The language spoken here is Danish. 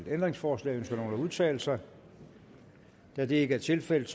ændringsforslag ønsker nogen at udtale sig da det ikke er tilfældet